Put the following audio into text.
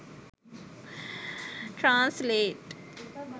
translate